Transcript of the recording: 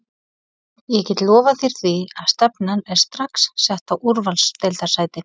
Ég get lofað þér því að stefnan er strax sett á úrvalsdeildarsæti.